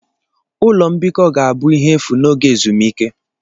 Ụlọ mbikọ ga-abụ ihe efu n'oge ezumike.